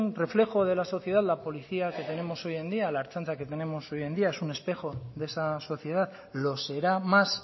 reflejo de la sociedad la policía que tenemos hoy en día la ertzaintza que tenemos hoy en día es un espejo de esa sociedad lo será más